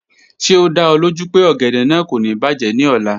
Ṣe o da ọ loju pe ogede naa ko ni bajẹ ni ọla?